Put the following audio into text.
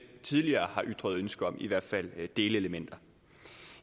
tidligere har ytret ønske om i hvert fald delelementer